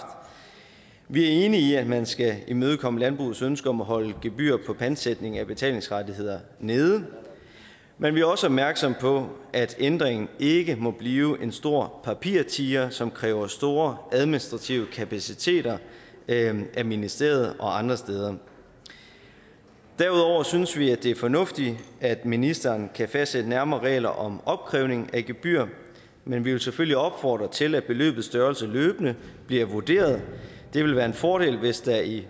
vi er enige i at man skal imødekomme landbrugets ønske om at holde gebyrer på pantsætning af betalingsrettigheder nede men vi er også opmærksom på at ændringen ikke må blive en stor papirtiger som kræver store administrative kapaciteter af ministeriet og andre steder derudover synes vi at det er fornuftigt at ministeren kan fastsætte nærmere regler om opkrævning af gebyr men vi vil selvfølgelig opfordre til at beløbets størrelse løbende bliver vurderet det vil være en fordel hvis der i